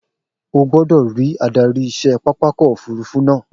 O gbọ́dọ̀ rí adarí iṣẹ́ pápákọ̀ òfurufú náà